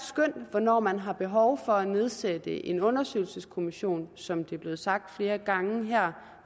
hvornår man har behov for at nedsætte en undersøgelseskommission som det er blevet sagt flere gange her